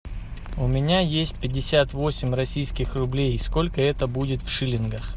у меня есть пятьдесят восемь российских рублей сколько это будет в шиллингах